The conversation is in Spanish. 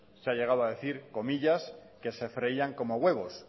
se ha llegado a decir que se freían como a huevos